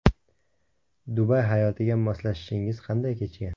Dubay hayotiga moslashishingiz qanday kechgan?